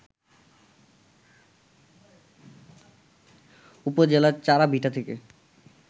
উপজেলার চাড়াভিটা থেকে